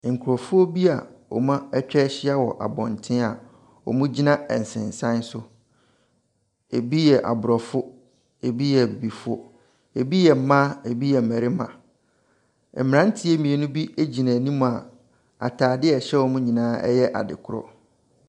Nkrɔfoɔ bi a wɔatwa ahyia wɔ abɔnten a wɔgyi na nsensan so. Ebi yɛ abrɔfo. Ebi yɛ abibifo. Ebi yɛ mmaa. Ebi yɛ mmarima. Mmranteɛ mmienu bi gyina anim a ataade a ɛhyɛ wɔn nyinaa yɛ adekorɔ.